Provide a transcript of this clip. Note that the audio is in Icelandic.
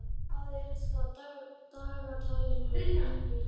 Bjarnar, hvað er á dagatalinu mínu í dag?